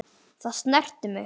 Það snerti mig.